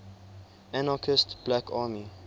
anarchist black army